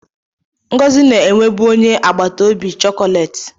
Ngozi na-enwebu onye agbata obi chocolate.